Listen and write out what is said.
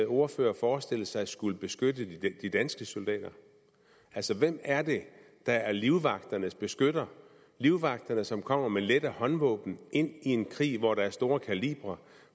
ordfører forestillet sig skulle beskytte de danske soldater altså hvem er det der er livvagternes beskytter livvagterne som kommer med lette håndvåben ind i en krig hvor der bruges store kalibre og